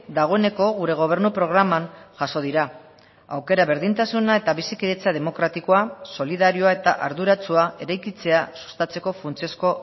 dagoeneko gure gobernu programan jaso dira aukera berdintasuna eta bizikidetza demokratikoa solidarioa eta arduratsua eraikitzea sustatzeko funtsezko